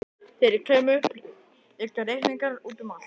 Þegar ég kem upp liggja reikningar úti um allt.